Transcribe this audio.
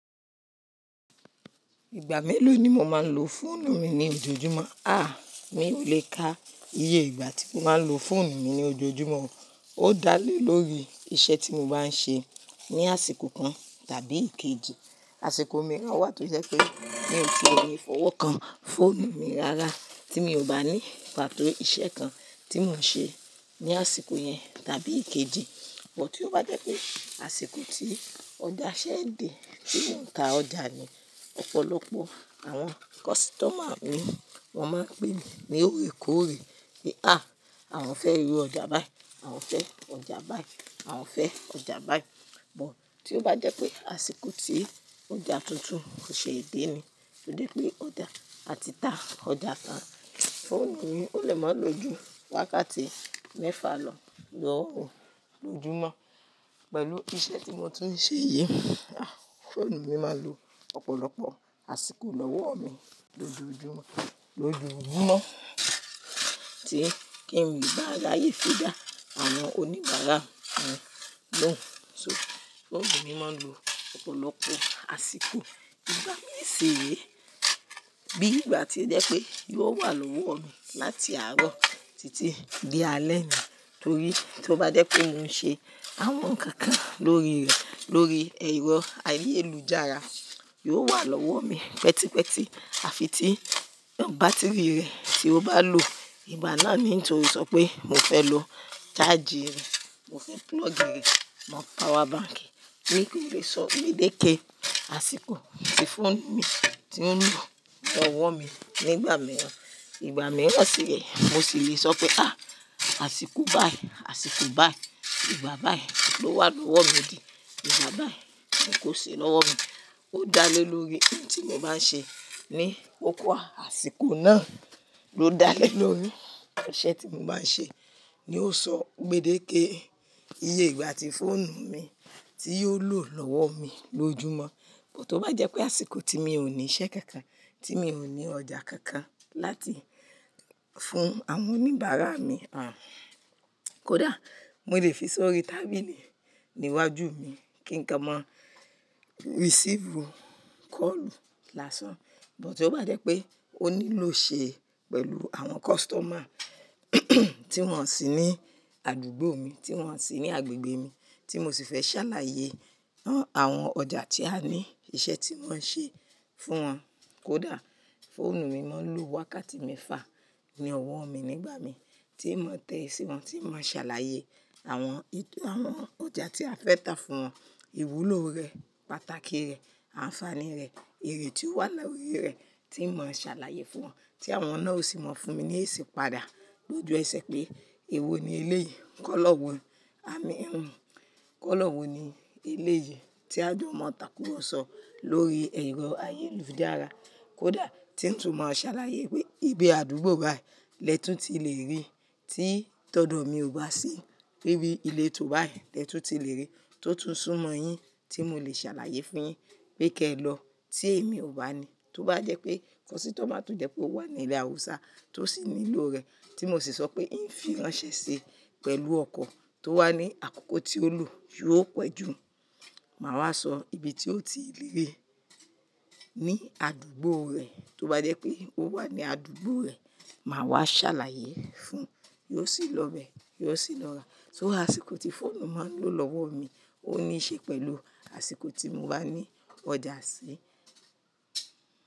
Ìgbà mélòó ni mo máa ń lo fóònù mi ní ojoojúmọ́? À, mí ò lè ka iye ìgbà tí mo máa ń lo fóònù mi ní ojoojúmọ́. Ó dá lé lórí iṣẹ́ tí mo bá ń ṣe ní àsìkò kan tàbí èkejì. Àsìkò mìíràn wà tó je pé mí ò tí e nì fowó kan, fóònù mi rara tí mi ò bá ní pàtó iṣẹ́ kan tí mò ń ṣe ní àsìkò yẹn tàbí èkejì. Bút tí ó bá jẹ́ pé àsìkò tí ọjà ṣẹ dè, tí mò ń ta ọjà ni, ọ̀pọ̀lọpọ̀ àwọn kọ́sítọ̀mà mi wọ́n máa ń pè mí ní òrèkóòrè wípé: "à, àwon fẹ́ ra ọjà báyìí, à ń fẹ ọjà báyìí, à ń fẹ ọjà báyìí." Bút tí ó bá jẹ́ pé àsìkò tí ọjà tuntun kò ṣe èdè ni, tò jẹ pé ọjà, a ti ta ọjà tán, fóònù mi ó lè máa ń lo ju wákàtí mẹ́fà lọ, lọ́hùn lójúmọ́. Pẹ̀lú iṣẹ́ tí mo tún ń ṣe yìí, à, fóònù mi máa ń lo ọ̀pọ̀lọpọ̀ àsìkò lọ́wọ́ mi lójoojumo, lojoojumo tí kín le baa ráyé ko da àwọn oníbàárà mi lóhùn. So, fóònù mi máa ń lo opolopo àsìkò ìgbà mi si ree. Bí ìgbà tí jẹ́ pé yóò wà lọ́wọ́ mi láti àárọ̀ títí di alẹ ni, torí tí ó bá jẹ́ pé mò ń ṣe àwọn nǹkan lórí rẹ̀, lórí ẹ̀rọ ayélujára, yóò wà lọ́wọ́ mi pẹtípẹtí. Àfi tí bátírì rẹ̀ tí ó bá loo ìgbà náà ni n to sọ pé mo fẹ́ lo ṣáájì rẹ̀, mo fẹ́ púlọ̀ọ̀gì rẹ̀ mọ pawa báǹkì, n ko lè sọ gbedeke àsìkò tí fóònù mi tí ó ń lọ lọ́wọ́ mi nígbà mìíràn. Ìgbà mìíràn sì re, mo sì le sọ pe, àsìkò báyìí, àsìkò báyìí, ìgbà báyìí ló wà lọ́wọ́ mi di, ìgbà báyìí ni kò sì lọ́wọ́ mi." Ó dá lé lórí ohun tí mo bá ń ṣe ní kókó àṣíko náà ló dá lé lórí iṣẹ́ tí mo bá ń ṣe ni ó sọ gbedeke iye ìgbà tí fóònù mi ti yóò lò lọ́wọ́ mi lójúmọ́. Bút tí ó bá jẹ́ pé àsìkò tí mi ò ní iṣẹ́ kankan, tí mi ò ní ọ̀ja kankan láti fún àwọn oníbàárà mi, à, kódà mo lè fi sọrí tábìlì níwájú mi kí nkan mọ risifu kọ́ọ̀lù lásán. Bút tí ó bá jẹ́ pé ó níló ṣe pẹ̀lú àwọn kọ́sítọ̀mà tí wọ́n sì ní àdúgbò mi, tí wọ́n sì ní agbègbè mi, tí mo sì fẹ́ ṣàlàyé àwọn ọjà tí a ní iṣẹ́ tí wọ́n ń ṣe fún wọn, kódà fóònù mi máa ń lo wákàtí mẹ́fa ní ọwọ́ mi nígbà mi tí mò ń tẹ si wọn, tí n mò ṣàlàyé àwọn, àwọn ọjà tí a fẹ́ ta fún wọn, iwulo rẹ, pàtàkì rẹ̀, ànfàní rẹ̀, èrè tí ó wà lórí rẹ̀ tí n mò ṣàlàyé fún wọn tí àwọn náà o sì mọ fún mi ní esi padà. Lójú ẹ sẹ́ pé èwo ni ele yìí, kọ́ lọ́wọ́ ni kọ́ lọ́wọ́ ni ele yìí, tí a jọmọ tàkúro sọ lórí ẹ̀rọ ayélujára. Kódà tí n tún mọ ṣàlàyé pé ibi àdúgbo báii lẹ́ tun ti lè rí tí tọdọ̀ mi ò bá se. Bí bí ileto báyìí lẹ́tun ti lè rí tó tún sún mọ yín tí mò lè ṣàlàyé fún yín pé kí ẹ lọ tí èmi ò bá ní. Tó bá jẹ́ pé kọ́sítọ̀mà tò jẹ́ pé ó wà ní ilẹ̀ Awúsá tó sì ní lo rẹ̀ tí mò sì sọ pé n fi ránṣẹ́ ṣi pẹ̀lú ọkọ̀ tó wà ní àkókò tí ó lò yio pẹ́ jù, màá wá sọ ibi tí ó ti lè rí ní àdúgbò rẹ̀. Tó bá jẹ́ pé ó wà ní àdúgbò rẹ̀, màá wá ṣàlàyé fún un. Yio sì lọ be, yio sì lọ ra. Àsìkò tí fóònù máa ń lo lọ́wọ́ mi ó ní í ṣe pẹ̀lú àsìkò tí mo bá ní ọ̀ja sí.